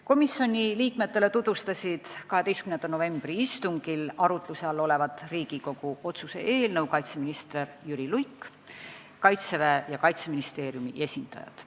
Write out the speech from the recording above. Komisjoni liikmetele tutvustasid 12. novembri istungil arutluse all olevat Riigikogu otsuse eelnõu kaitseminister Jüri Luik ning Kaitseväe ja Kaitseministeeriumi esindajad.